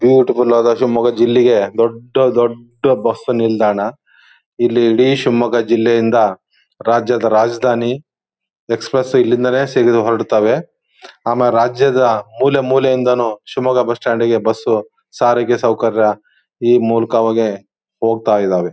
Beauty full ಆದ ಶಿಮೊಗ್ಗ ಜಿಲ್ಲೆಗೆ ದೊಡ್ಡ ದೊಡ್ಡ ಬಸ್ ನಿಲ್ದಾಣ ಇಲ್ಲಿ ಇಡೀ ಶಿಮೊಗ್ಗ ಜಿಲ್ಲೆಯಿಂದ ರಾಜ್ಯದ ರಾಜಧಾನಿ ಎಕ್ಸ್ಪ್ರೆಸ್ ಇಲ್ಲಿಂದಲ್ಲೇ ಹೊರಡತ್ತವೆ ಆಮೇಲೆ ರಾಜ್ಯದ ಮೂಲೆ ಮೂಲೆಯಿಂದನು ಶಿಮೊಗ್ಗ ಬಸ್ ಸ್ಟಾಂಡ್ ಗೆ ಬಸು ಸಾರಿಗೆ ಸೌಕರ್ಯ ಈ ಮೂಲಕವಾಗಿ ಹೋಗತಾ ಇದಾವೆ.